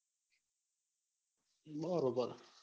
બરોબર